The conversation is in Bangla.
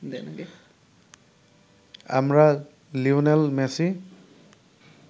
আমরা লিওনেল মেসি